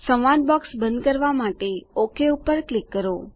સંવાદ બોક્સ બંધ કરવાં માટે ઓક પર ક્લિક કરો